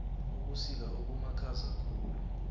ubusika obumakhaza khulu